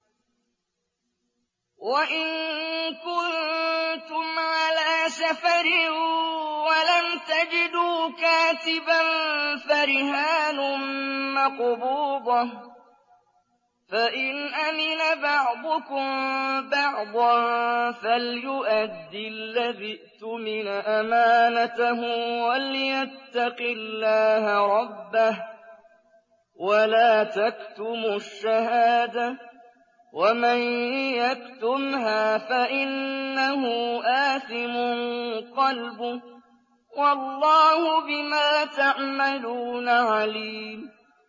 ۞ وَإِن كُنتُمْ عَلَىٰ سَفَرٍ وَلَمْ تَجِدُوا كَاتِبًا فَرِهَانٌ مَّقْبُوضَةٌ ۖ فَإِنْ أَمِنَ بَعْضُكُم بَعْضًا فَلْيُؤَدِّ الَّذِي اؤْتُمِنَ أَمَانَتَهُ وَلْيَتَّقِ اللَّهَ رَبَّهُ ۗ وَلَا تَكْتُمُوا الشَّهَادَةَ ۚ وَمَن يَكْتُمْهَا فَإِنَّهُ آثِمٌ قَلْبُهُ ۗ وَاللَّهُ بِمَا تَعْمَلُونَ عَلِيمٌ